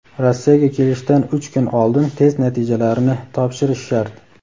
Rossiyaga kelishdan uch kun oldin test natijalarini topshirish shart.